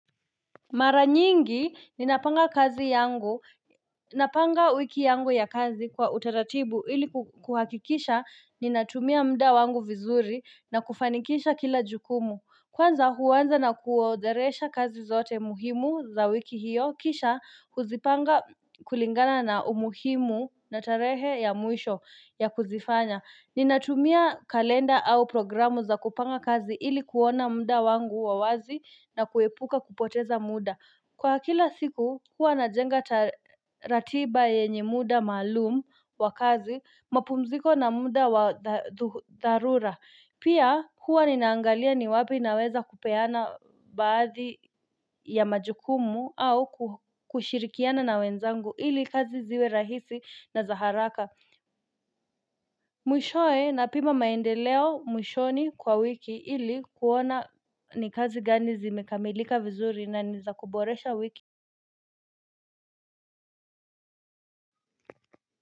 Mara nyingi ninapanga kazi yangu, napanga wiki yangu ya kazi kwa utaratibu ili kuhakikisha ninatumia muda wangu vizuri na kufanikisha kila jukumu. Kwanza huanza na kuodheresha kazi zote muhimu za wiki hiyo, kisha kuzipanga kulingana na umuhimu na tarehe ya mwisho ya kuzifanya. Ninatumia kalenda au programu za kupanga kazi ili kuona muda wangu wa wazi na kuepuka kupoteza muda. Kwa kila siku, huwa najenga ratiba yenye muda malumu wa kazi, mapumziko na muda wa dharura. Pia huwa ninaangalia ni wapi naweza kupeana baadhi ya majukumu au kushirikiana na wenzangu ili kazi ziwe rahisi na zaharaka Mwishoe na pima maendeleo mwishoni kwa wiki ili kuona ni kazi gani zimekamilika vizuri na niza kuboresha wiki.